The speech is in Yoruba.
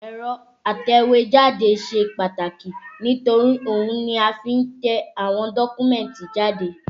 Ẹ̀rọ atẹ̀wẹ́jáde ṣe pàtàkì nítorí ohun ni a fi ń tẹ àwọn dọ́kúmẹ̀tì jáde